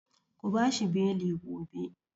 Ku bashi beli gobe!